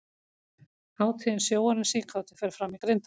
Hátíðin Sjóarinn síkáti fer fram í Grindavík.